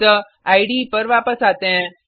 अतः इडे पर वापस आते हैं